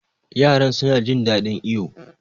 Yaran suna jin ɗaɗin iyo.